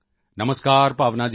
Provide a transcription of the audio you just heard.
ਨਮਸਕਾਰ ਭਾਵਨਾ ਜੀ